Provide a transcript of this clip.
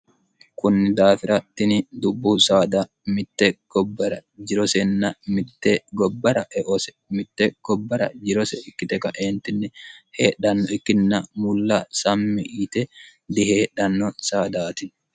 kunni daafirattini dubbu saada mitte gobbara jirosenn mitte gobbara eose mitte gobbara jirose ikkite kaeentinni heedhanno ikkinna mulla sammi yite diheedhanno saadaati